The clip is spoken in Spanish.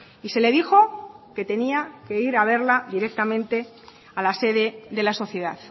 y se le dijo que tenía que ir a verla directamente a la sede de la sociedad